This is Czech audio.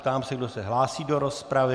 Ptám se, kdo se hlásí do rozpravy.